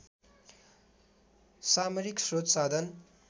सामरिक स्रोत साधन